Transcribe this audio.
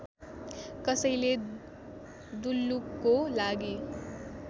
कसैले दुल्लुको लागि